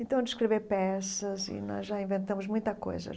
Então, de escrever peças, e nós já inventamos muita coisa.